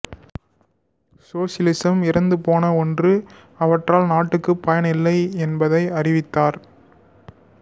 சோசலிசம் இறந்துபோன ஓன்று அவற்றால் நாட்டுக்கு பயன் இல்லை என்பதை அறிவித்தார்